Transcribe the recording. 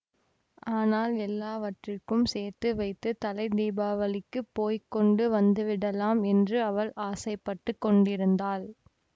ஆனால் எல்லாவற்றுக்கும் சேர்த்து வைத்து தலை தீபாவளிக்குப் போய் கொண்டு வந்துவிடலாமென்று அவள் ஆசைப்பட்டுக் கொண்டிருந்தாள்